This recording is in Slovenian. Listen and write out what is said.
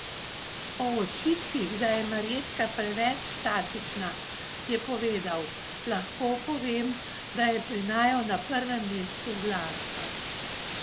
O očitkih, da je Marjetka preveč statična, je povedal: "Lahko povem, da je pri naju na prvem mestu glasba.